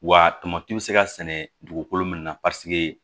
Wa tamati bɛ se ka sɛnɛ dugukolo min na